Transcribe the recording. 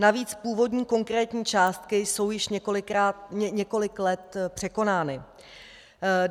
Navíc původní konkrétní částky jsou již několik let překonány.